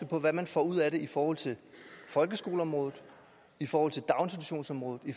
på hvad man får ud af det i forhold til folkeskoleområdet i forhold til daginstitutionsområdet i